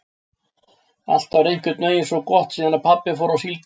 Allt var einhvern veginn svo gott síðan pabbi fór á síldina.